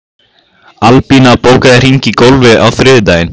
Albína, bókaðu hring í golf á þriðjudaginn.